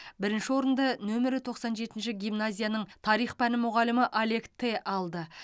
бірінші орынды нөмірі тоқсан жетінші гимназияның тарих пәні мұғалімі олег те алды